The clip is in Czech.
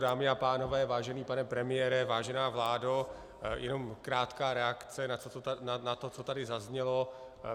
Dámy a pánové, vážený pane premiére, vážená vládo, jenom krátká reakce na to, co tady zaznělo.